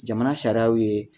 Jamana sariyaw ye